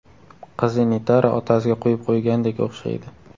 Qizi Nitara otasiga quyib qo‘ygandek o‘xshaydi.